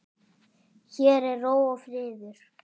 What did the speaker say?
Hér er ró og friður.